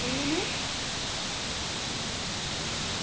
എന്തെന്ന്?